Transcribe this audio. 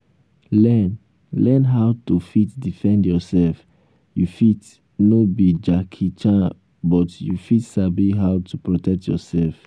learn learn how to fit defend yourself you fit no be jackie chan but you fit sabi how to protect yourself